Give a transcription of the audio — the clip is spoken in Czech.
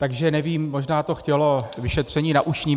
Takže nevím, možná to chtělo vyšetření na ušním.